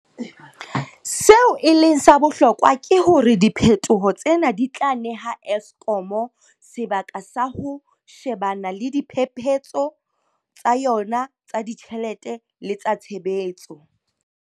Seo e leng sa bohlokwa ke hore diphetoho tsena di tla neha Eskom sebaka sa ho she-bana le diphephetso tsa yona tsa ditjhelete le tsa tshebetso.